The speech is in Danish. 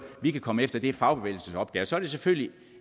vi kan komme efter det er fagbevægelsens opgave så er det selvfølgelig